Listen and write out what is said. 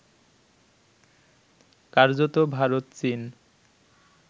কার্যত ভারত চীন